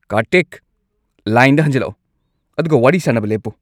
ꯀꯥꯔꯇꯤꯛ! ꯂꯥꯏꯟꯗ ꯍꯟꯖꯤꯜꯂꯛꯎ ꯑꯗꯨꯒ ꯋꯥꯔꯤ ꯁꯥꯅꯕ ꯂꯦꯞꯄꯨ꯫